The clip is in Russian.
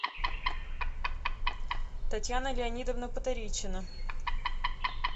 татьяна леонидовна потаричина